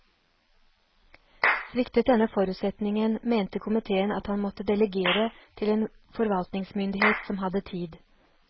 Sviktet denne forutsetningen mente komiteen at man måtte delegere til en forvaltningsmyndighet som hadde tid.